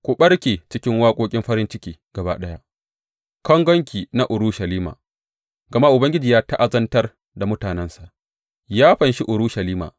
Ku ɓarke cikin waƙoƙin farin ciki gaba ɗaya, kangonki na Urushalima, gama Ubangiji ya ta’azantar da mutanensa, ya fanshi Urushalima.